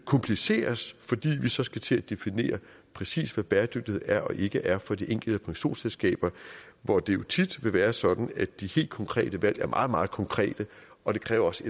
kompliceres fordi man så skal til at definere præcist hvad bæredygtighed er og ikke er for de enkelte pensionsselskaber hvor det jo tit vil være sådan at de helt konkrete valg er meget meget konkrete og det kræver også